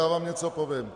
Já vám něco povím.